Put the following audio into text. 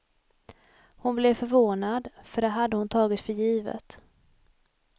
Hon blev förvånad, för det hade hon tagit för givet.